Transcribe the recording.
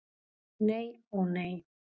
Nei, ó nei.